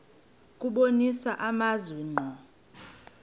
kubonisa amazwi ngqo